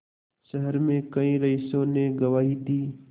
शहर में कई रईसों ने गवाही दी